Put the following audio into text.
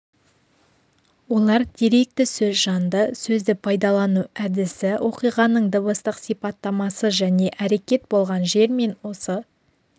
олар деректі сөз жанды сөзді пайдалану әдісі оқиғаның дыбыстық сипаттамасы және әрекет болған жер мен осы